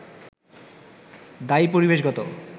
দায়ী পরিবেশগত